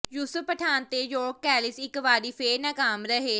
ਯੂਸਫ ਪਠਾਣ ਤੇ ਯਾਕ ਕੈਲਿਸ ਇਕ ਵਾਰੀ ਫੇਰ ਨਾਕਾਮ ਰਹੇ